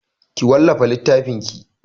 Ki wallafa littafinki!